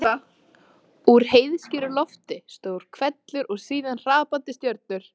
Úr heiðskíru lofti: stór hvellur og síðan hrapandi stjörnur.